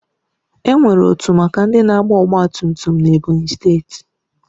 Enwere otu maka ndị na-agba ọgbatumtum n'Ebonyi steeti